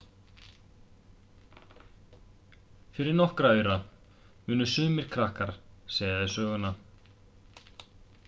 fyrir nokkra aura munu sumir krakkar segja þér söguna